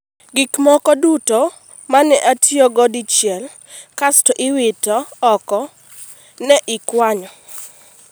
Gik moko duto ma ne otiyogo dichiel kasto iwito oko, ne ikwanyo.